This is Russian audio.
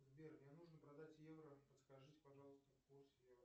сбер мне нужно продать евро подскажите пожалуйста курс евро